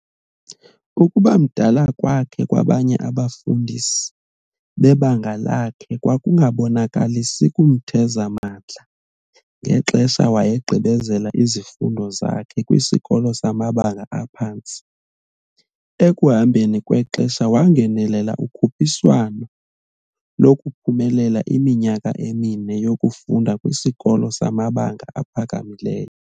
Ukubamdala kwakhe kwabanye abafundi bebanga lakhe kwakungabonakalisi kumtheza mandla ngexesha wayegqibezela iziundo zakhe kwisikolo samabanga aphantsi, ekuhambeni kwexesha wangenelela ukhuphiswano lokuphumelela iminyaka emine yokufunda kwisikolo samabanga aphakamileyo.